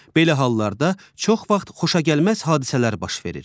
Belə hallarda çox vaxt xoşagəlməz hadisələr baş verir.